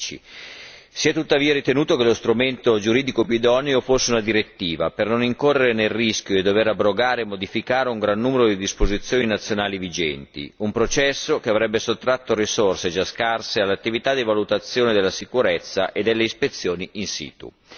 2010. Si è tuttavia ritenuto che lo strumento giuridico più idoneo fosse una direttiva, per non incorrere nel rischio di dover abrogare e modificare un gran numero di disposizioni nazionali vigenti, un processo che avrebbe sottratto risorse, già scarse, all'attività di valutazione della sicurezza e delle ispezioni in situ.